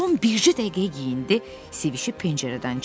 Tom bir dəqiqəyə geyindi, sevişib pəncərədən çıxdı.